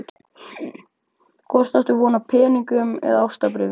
Hvort áttu von á peningum eða ástarbréfi?